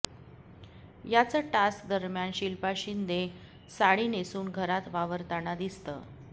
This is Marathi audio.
याच टास्क दरम्यान शिल्पा शिंदे साडी नेसून घरात वावरताना दिसतं